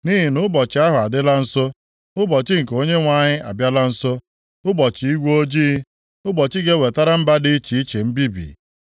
Nʼihi nʼụbọchị ahụ adịla nso, Ụbọchị nke Onyenwe anyị abịala nso, ụbọchị igwe ojii, ụbọchị ga-ewetara mba dị iche iche mbibi.